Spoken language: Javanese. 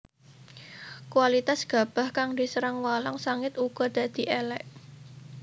Kualitas gabah kang diserang walang sangit uga dadi élék